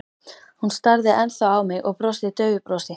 Hún starði ennþá á mig og brosti daufu brosi.